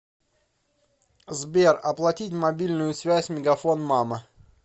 сбер оплатить мобильную связь мегафон мама